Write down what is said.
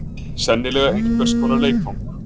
Sennilega einhvers konar leikföng.